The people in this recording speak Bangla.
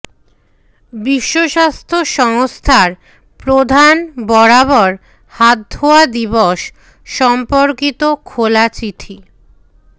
বিশ্বস্বাস্থ্য সংস্থার প্রধান বরাবর হাতধোয়া দিবস সম্পর্কিত খোলা চিঠি